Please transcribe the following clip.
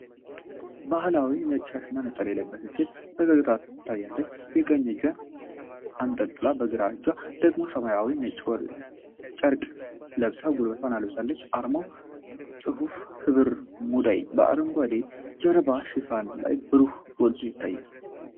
ባሕላዊ ነጭ ሻሽና ነጠላ የለበሰች ሴት ፈገግታ ታሳያለች። የቀኝ እጇን አንጠልጥላ በግራ እጇ ደግሞ ሰማያዊና ነጭ ጨርቅ ለብሳ ጉልበቷን ለብሳለች። አርማውና ጽሑፉ "ሕብር ሙዳይ" በአረንጓዴ የጀርባ ሽፋን ላይ በብሩህ ጎልቶ ይታያል።